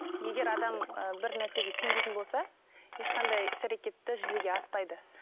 егер адам ы бір нәрсеге сенбейтін болса ешқандай іс әрекет те жүзеге аспайды